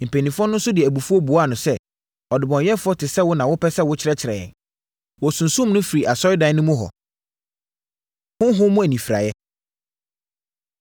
Mpanimfoɔ no nso de abufuo buaa no sɛ, “Ɔdebɔneyɛfoɔ te sɛ wo na wopɛ sɛ wokyerɛkyerɛ yɛn?” Wɔsunsum no firii asɔredan no mu hɔ. Honhom Mu Anifiraeɛ